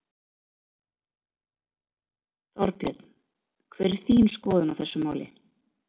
Þorbjörn: Hver er þín skoðun á þessu máli?